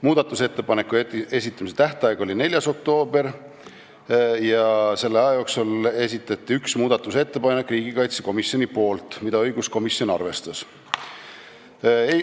Muudatusettepanekute esitamise tähtaeg oli 4. oktoober ja vahepealse aja jooksul esitas riigikaitsekomisjon ühe muudatusettepaneku, mida õiguskomisjon arvestas.